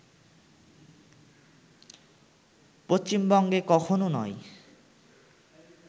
পশ্চিমবঙ্গে কখনও নয়